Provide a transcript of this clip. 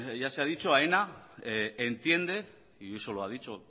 ya se ha dicho aena entiende y eso lo ha dicho